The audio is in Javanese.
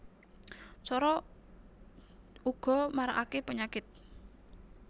Coro uga marakake penyakit